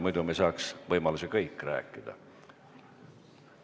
Muidu me saaks võimaluse kõik rääkida.